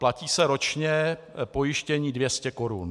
Platí se ročně pojištění 200 korun.